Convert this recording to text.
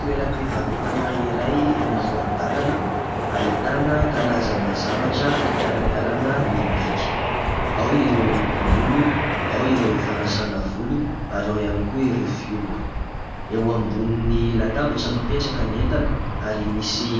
Toeram-pivarotana iray eny amoron-dalana, ahitana karazana zavatra fikarakarana ny bika : ao ireo lokom-bolo, ao ireo fanasana volo ary ao ihany koa ireo fihogo. Eo ambonin'ny latabatra no mipetraka ny entana ary misy